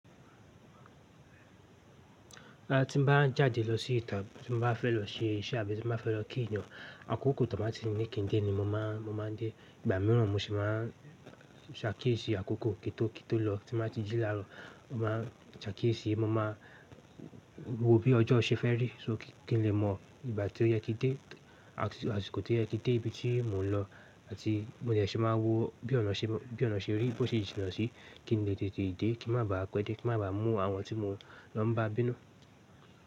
Ti mo bá n jáde lọ sí ìta, tí mo bá fẹ́ lọ ṣe iṣẹ́ àbí tí mo bá fẹ́ lọ kí ènìyàn, àkókò tí wọ́n bá ti ní kẹ́dẹ̀ ni mo máa n dé. Ìgbà míràn mo sì máa n sakíìyesì àkókò kí tó kí tó lọ. Tí mo bá ti jí la ró, mo máa n sakíìyesì, mo máa n wo bí ọjọ́ ṣe fẹ́ rí, so kí n lè mọ ìgbà tí ó yẹ kí dé àti àsìkò tó yẹ kí dé ibi tí mò ń lọ. Àti mo dẹ̀ ṣì máa wo bí ọ̀nà ṣe rí bí ọ̀nà ṣe rí bó ṣe jìn náà sí, kí n lè tètè dé, kí n má bá pẹ́ dé, kí n má bá mú àwọn tí mo ma ń bá bínú.